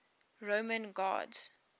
roman gods